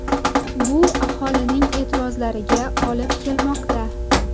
Bu aholining e’tirozlariga olib kelmoqda.